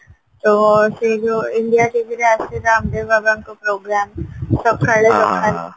ତ ସେଇ ଯୋଉ india tvରେ ଆସୁଚି ରାମ ଦେବ ବାବାଙ୍କ program ସଖାଳୁ ସଖାଳୁ